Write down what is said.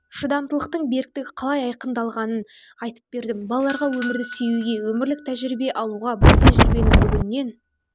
шыдамдылықтың беріктігі қалай айқындалғанын айтып бердім балаларға өмірді сүюге өмірлік тәжірибе алуға бұл тәжірибені бүгіннен